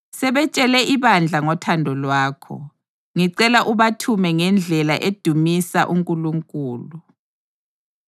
Sebetshele ibandla ngothando lwakho. Ngicela ubathume ngendlela edumisa uNkulunkulu.